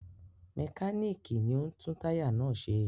Mẹkáníkì ni ó ń tún táyà náà ṣe.